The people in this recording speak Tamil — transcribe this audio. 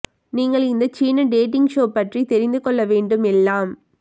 நீங்கள் இந்த சீன டேட்டிங் ஷோ பற்றி தெரிந்து கொள்ள வேண்டும் எல்லாம்